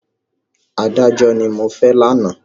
Adájọ́ ni mo fẹ́ lánàá.